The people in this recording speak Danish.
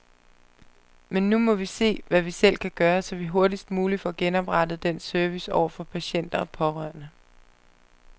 Men nu må vi se, hvad vi selv kan gøre, så vi hurtigst muligt får genoprettet den service over for patienter og pårørende.